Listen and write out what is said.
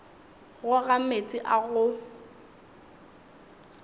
go ga meetse a go